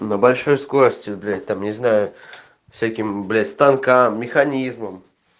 на большой скорости блять там не знаю всяким блять станкам механизмом